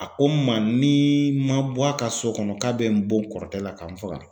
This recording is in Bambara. A ko ma nii ma bɔ a ka so kɔnɔ k'a bɛ n bon kɔrɔtɛ la ka n faga.